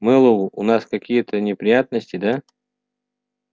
мэллоу у нас какие-то неприятности да